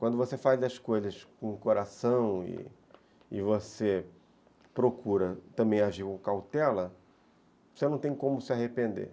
Quando você faz as coisas com o coração e você procura também agir com cautela, você não tem como se arrepender.